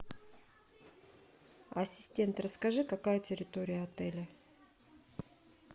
ассистент расскажи какая территория отеля